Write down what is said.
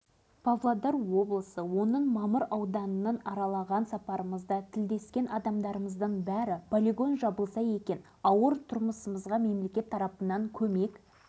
тапсырылған әскерилер осылай істегенде жекелеген адамдар тағдырына шекесіне қарап мамыр ауданының тұрғындары санақтан да санаптан